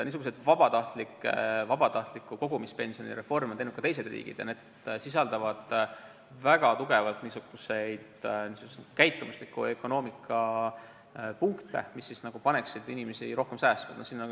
Samasuguse vabatahtliku kogumispensioni reformi on teinud ka teised riigid ja need reformid sisaldavad tugevaid käitumusliku ökonoomia punkte, mis peavad inimesi rohkem säästma panema.